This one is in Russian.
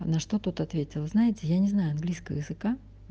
а на что тут ответила знаете я не знаю английского языка